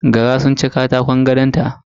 Gara sun ci katakon gadonta